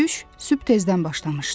Döyüş sübh tezdən başlamışdı.